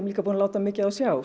búin að láta mikið á sjá